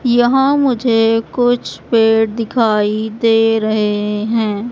यहां मुझे कुछ पेड़ दिखाई दे रहे हैं।